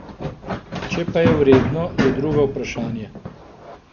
Če pa je vredno, je drugo vprašanje.